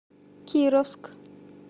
кировск